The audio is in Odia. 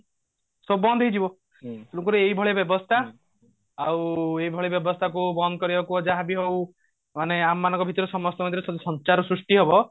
ସବୁ ବନ୍ଦ ହେଇଯିବ ଭି ଲୋକ ର ଏଇଭଳି ବ୍ୟବସ୍ତା ଆଉ ଏଇଭଳି ବ୍ୟବସ୍ତା କୁ ବନ୍ଦ କରିବାକୁ ଯାହାବି ହଉ ମାନେ ଆମ ମାନଙ୍କ ଭିତରେ ସମସ୍ତଙ୍କ ଭିତରେ ସେମତି ସଂଚାର ସୃଷ୍ଟି ହବ